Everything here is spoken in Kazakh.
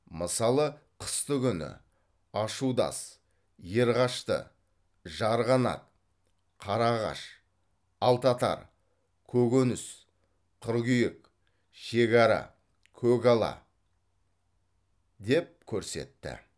мысалы қыстыгүні ашудас ерғашты жарғанат қарағаш алтатар көгөніс қыргүйек шегара көгала деп көрсетті